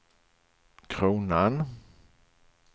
kronan